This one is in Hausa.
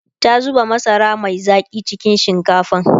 ta zuba masara Mai Zaki cikin shinkafan